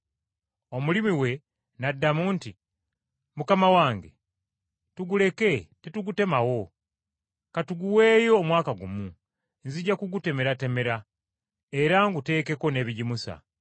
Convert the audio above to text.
Omulimi we n’addamu nti, ‘Mukama wange, tuguleke tetugutemawo. Ka tuguweeyo omwaka gumu, nzija kugutemeratemera era nguteekeko n’ebigimusa.